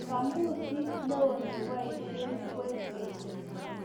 kamusit noe neoboisien kwekeny